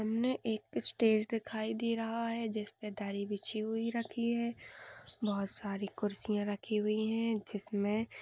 सामने एक स्टेज दिखाई दे रहा है जिसमे दरी बिछी हुई रखी है बहुत सारी कुरसिया रखी है जिसमे--